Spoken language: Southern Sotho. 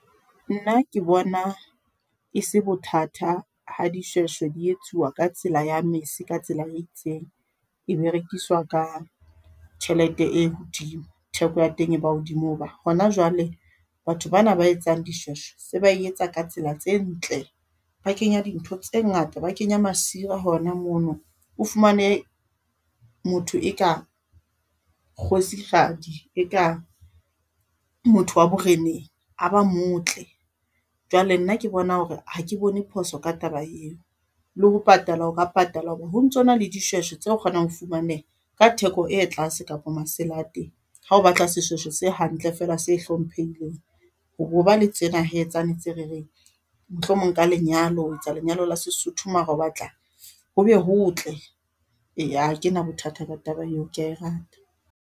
Nna ke bona e se bothatha ha dishweshwe di etsuwa ka tsela ya mese ka tsela e itseng e berekiswa ka tjhelete e hodimo, theko ya teng e ba hodimo ho ba hona jwale batho bana ba etsang dishweshwe se ba etsa ka tsela tse ntle, ba kenya dintho tse ngata ba kenya masira hona mono. O fumane motho e ka kgosikgadi e ka motho wa boreneng a ba motle. Jwale nna ke bona ho re ha ke bone phoso ka taba eo, le ho patala o ka patala ho re ho ntsona le dishweshwe tse kgonang ho fumaneha ka theko e tlase kapa masela a teng. Ha o batla seshweshwe se hantle fela se e hlomphehileng. Ho bo ba le tsena hee tsane tse re reng, mohlomong ka lenyalo o etsa lenyalo la seSotho mara o batla ho be ho tle, e ha kena bothata ba taba eo ke ya e rata.